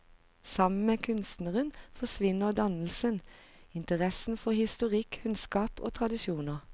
Sammen med kunstneren forsvinner dannelsen, interessen for historisk kunnskap og tradisjoner.